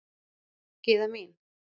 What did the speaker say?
Gyða mín.